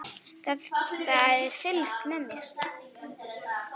Það er fylgst með mér.